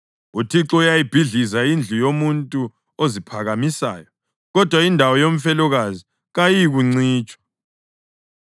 UThixo uyayibhidliza indlu yomuntu oziphakamisayo, kodwa indawo yomfelokazi kayiyikuncitshiswa.